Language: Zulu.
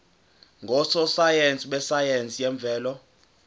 ngososayense besayense yemvelo